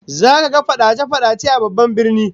Zaka ga fadace-fadace a babban birnin